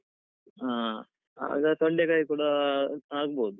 ಹಾ, ಆಗ ತೊಂಡೆಕಾಯಿ ಕೂಡ ಆಗ್ಬೋದು.